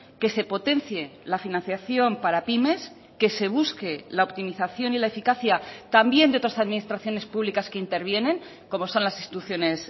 que se potencie la financiación para pymes que se busque la optimización y la eficacia también de otras administraciones públicas que intervienen como son las instituciones